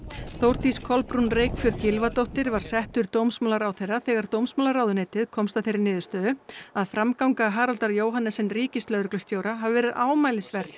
Þórdís Kolbrún Reykfjörð Gylfadóttir var settur dómsmálaráðherra þegar dómsmálaráðuneytið komst að þeirri niðurstöðu að framganga Haraldar Jóhannesen ríkislögreglustjóra hafi verið ámælisverð